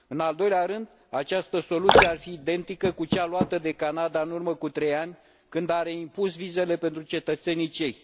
În al doilea rând, această soluție ar fi identică cu cea luată de Canada în urmă cu trei ani, când a reimpus vizele pentru cetățenii cehi.